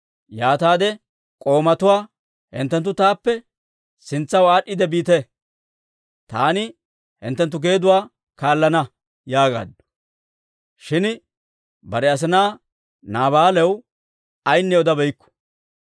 Yaataade k'oomatuwaa, «Hinttenttu taappe sintsaw aad'd'iide biite; taani hinttenttu geeduwaa kaallana» yaagaaddu; shin bare asinaa Naabaalaw ayinne odabeykku.